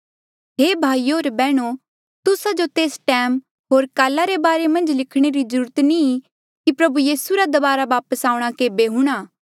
हे भाईयो होर बैहणो तुस्सा जो तेस टैम होर काला रे बारे मन्झ लिखणे री ज्रूरत नी कि प्रभु यीसू रा दबारा वापस आऊंणा केबे हूणा